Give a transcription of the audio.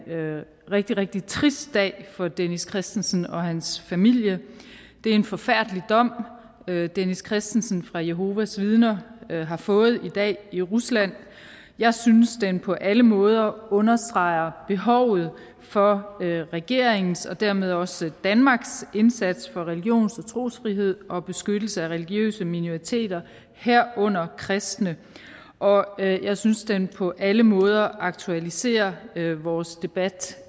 rigtig rigtig trist dag for dennis christensen og hans familie det er en forfærdelig dom dennis christensen fra jehovas vidner har fået i dag i rusland jeg synes at den på alle måder understreger behovet for regeringens og dermed også danmarks indsats for religions og trosfrihed og beskyttelse af religiøse minoriteter herunder kristne og jeg synes at den på alle måder aktualiserer vores debat